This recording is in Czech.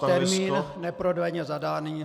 Termín neprodleně zadaný.